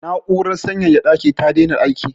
Na'urar sanyaya ɗaki ta daina aiki.